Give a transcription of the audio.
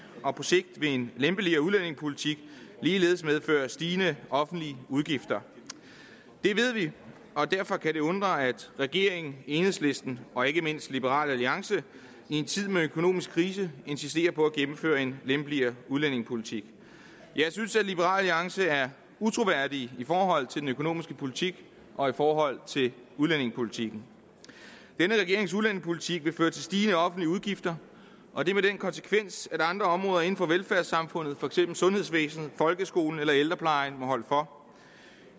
og på sigt vil en lempeligere udlændingepolitik ligeledes medføre stigende offentlige udgifter det ved vi og derfor kan det undre at regeringen enhedslisten og ikke mindst liberal alliance i en tid med økonomisk krise insisterer på at gennemføre en lempeligere udlændingepolitik jeg synes at liberal alliance er utroværdige i forhold til den økonomiske politik og i forhold til udlændingepolitikken denne regerings udlændingepolitik vil føre til stigende offentlige udgifter og det har den konsekvens at andre områder inden for velfærdssamfundet for eksempel sundhedsvæsenet folkeskolen eller ældreplejen må holde for